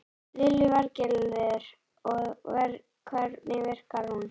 Lillý Valgerður: Og hvernig virkar hún?